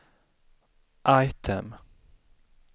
item